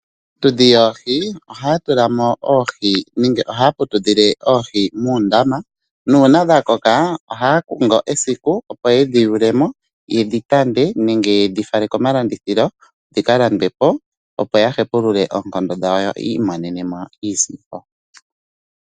Aatudhi yoohi ohaya tulamo nenge ohaya putudhile oohi muundama nuuna dha koka ohaya kongo esiku opo yedhi yewule mo yedi tande nenge yedhi fale komalandithilo dhika landwe po opo ya hepulule oonkondo dhawo yo yiimonenemo iisimpo.